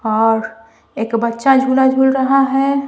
और एक बच्चा झूला झूल रहा ह।